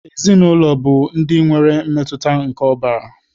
Ezinaụlọ bụ ndị nwere mmetụta nke ọbara